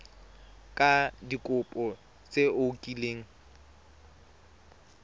ka dikopo tse o kileng